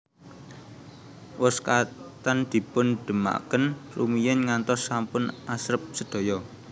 Wos ketan dipun dhemaken rumiyin ngantos sampun asrep sedaya